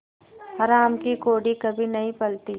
हराम की कौड़ी कभी नहीं फलती